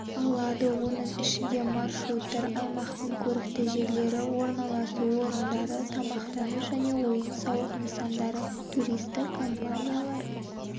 алады оның ішінде маршруттар аймақтың көрікті жерлері орналасу орындары тамақтану және ойын-сауық нысандары туристік компаниялар